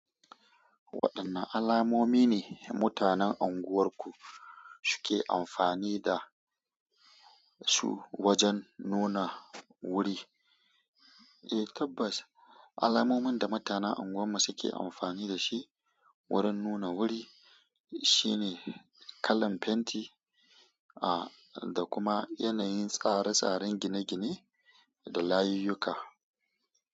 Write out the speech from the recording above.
Waɗanne alamomi ne mutanen unguwarku suke amfani da su wajen nuna wuri? Eh tabbas, alamomin da mutanen unguwarmu suke amfani da shi wurin nuna wuri shine kalan fenti, ah, da kuma yanayin tsare-tsaren gine-gine da layuyyuka.